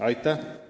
Aitäh!